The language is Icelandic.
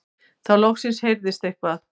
Þá loksins heyrðist eitthvað.